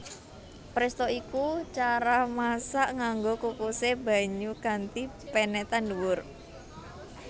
Presto iku cara masak nganggo kukusé banyu kanthi penetan dhuwur